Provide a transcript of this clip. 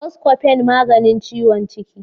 Buscofen magani ciwon ciki.